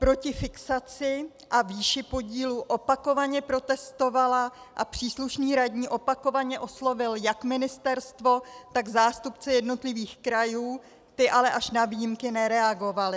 Proti fixaci a výši podílu opakovaně protestovala a příslušný radní opakovaně oslovil jak ministerstvo, tak zástupce jednotlivých krajů, ti ale až na výjimky nereagovali.